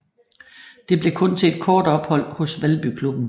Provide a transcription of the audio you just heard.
Det blev kun til et kort ophold hos Valby klubben